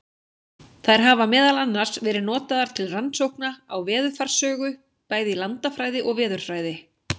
Þær hafa meðal annars verið notaðar til rannsókna á veðurfarssögu, bæði í landafræði og veðurfræði.